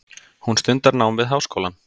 Hún stundar nám við háskólann.